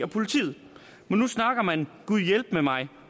politiet men nu snakker man gudhjælpemig